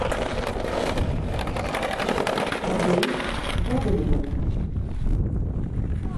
адей гоголевым